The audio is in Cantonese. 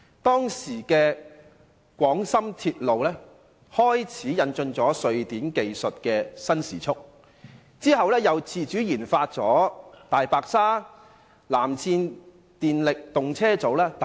當時的廣深鐵路開始引進瑞典的新時速技術，其後又自主研發了"大白鯊"、"藍箭"電力動車組等。